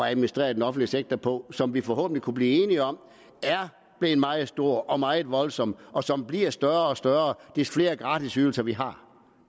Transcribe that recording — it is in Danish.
at administrere den offentlige sektor på som vi forhåbentlig kan blive enige om er blevet meget stor og meget voldsom og som bliver større og større desto flere gratisydelser vi har